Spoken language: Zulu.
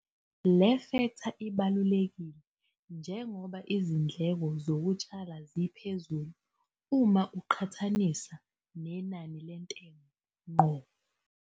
Le fektha ibalulekile njengoba izindleko zokutshala ziphezulu uma ziqhqthaniswa nenani lentengo ngqo.